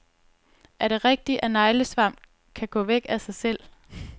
Er det rigtigt, at neglesvamp kan gå væk af sig selv?